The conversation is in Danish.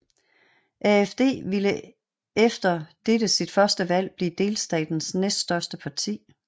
AfD ville efter dette sit første valg blive delstatens næst største parti